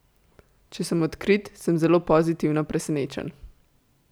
Če sem odkrit, sem zelo pozitivno presenečen.